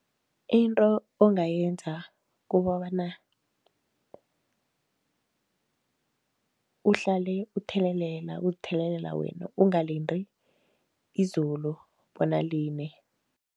Into ongayenza kukobana uhlale uthelelela, uzithelelela wena, ungalindi izulu bona line.